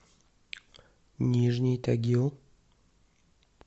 нижний тагил